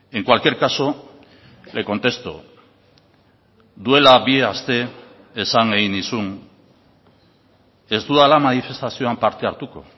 en cualquier caso le contesto duela bi aste esan egin nizun ez dudala manifestazioan parte hartuko